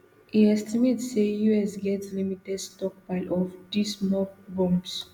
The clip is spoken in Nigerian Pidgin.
e estimate say us get limited stockpile of these mop bombs